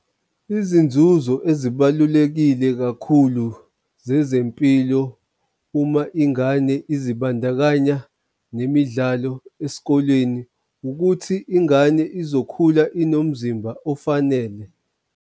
Izinzuzo ezibalulekile kakhulu zezempilo uma ingane izibandakanya nemidlalo esikoleni ukuthi ingane izokhula inomzimba ofanele.